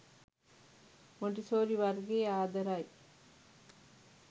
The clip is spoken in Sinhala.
මොන්ටිසෝරි වර්ගයේ ආදරයි.